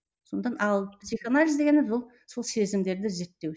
сондықтан ал психоанализ дегеніміз ол сол сезімдерді зерттеу